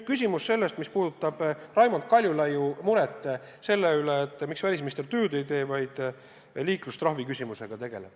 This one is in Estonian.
Küsimus sellest, mis puudutab Raimond Kaljulaiu muret selle üle, miks välisminister tööd ei tee, vaid tegeleb liiklustrahvi küsimusega.